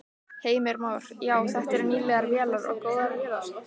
Heimir Már: Já, þetta eru nýlegar vélar og góðar vélar?